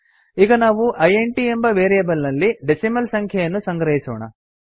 ಈಗ ನಾವು ಇಂಟ್ ಎಂಬ ವೇರಿಯೇಬಲ್ ನಲ್ಲಿ ಡೆಸಿಮಲ್ ಸಂಖ್ಯೆಯನ್ನು ಸಂಗ್ರಹಿಸೋಣ